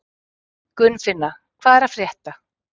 Gunnfinna, hvað er að frétta?